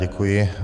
Děkuji.